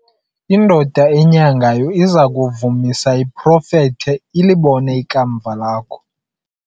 indoda enyangayo iza kuvumisa iprofethe, ilibone ikamva lakho